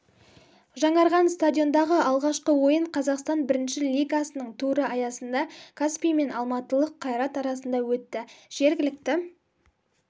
жаңарған стадиондағы алғашқы ойын қазақстан бірінші лигасының туры аясында каспий мен алматылық қайрат арасында өтті жергілікті